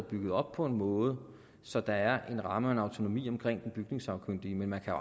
bygget op på en måde så der er en ramme og en autonomi omkring den bygningssagkyndige men man kan